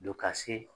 Don ka se